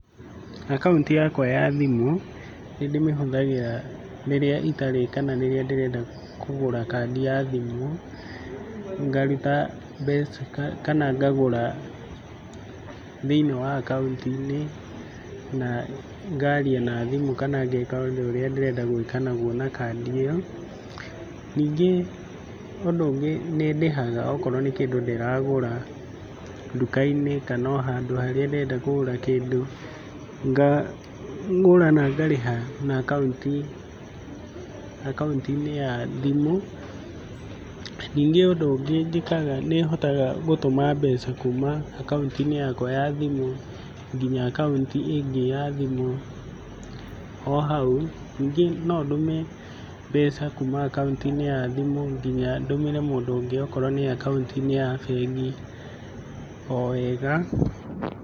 Akaunti yakwa ya thimũ nĩndĩmĩhũthagĩra rĩrĩa itarĩ kana rĩrĩa ndĩrenda kũgũra kandi ya thimũ, ngaruta mbeca kana ngagũra thĩiniĩ wa akaunti-inĩ na ngaria na thimũ kana ngeka ũndũ ũrĩa ndĩrenda gwĩka naguo na kandi ĩyo. Ningĩ ũndũ ũngĩ nĩndĩhaga okorwo nĩ kĩndũ ndĩragũra nduka-inĩ kana o handũ harĩa ndĩrenda kũgũra kĩndũ, ngagũra na ngarĩha na akaunti, akaunti-inĩ ya thimũ. Ningĩ ũndũ ũngĩ njĩkaga nĩhotaga gũtũma mbeca kuma akaunti-inĩ yakwa ya thimũ nginya akaunti ĩngĩ ya thimũ o hau. Ningĩ no ndũme mbeca kuma akaunti-inĩ ya thimũ kinya ndũmĩre mũndũ ũngĩ okorwo nĩ akaunti-inĩ ya bengi o wega.